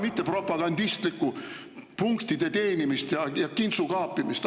… mitte propagandistlikku punktide teenimist ja kintsukaapimist.